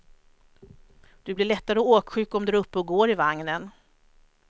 Du blir lättare åksjuk om du är uppe och går i vagnen.